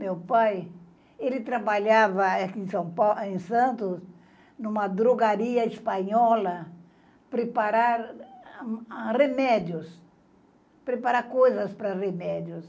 Meu pai, ele trabalhava aqui em São Paulo, em Santos, em uma drogaria espanhola, preparar remédios, preparar coisas para remédios.